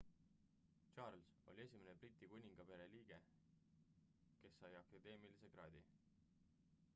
charles oli esimene briti kuningaperekonna liige kas sai akadeemilise kraadi